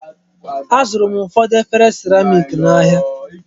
Azụrụ m ụfọdụ efere seramik n'ahia.